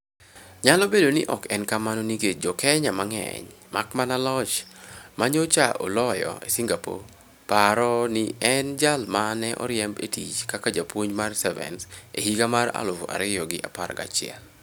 Nyalo bedo ni ok en kamano nikech Jo Kenya mang'eny - mak mana loch ma nyocha oloyo e Singapore - paro ni ne en jal ma ne oriemb e tich kaka japuonj mar Sevens e higa mar aluf ariyo gi apar gachiel.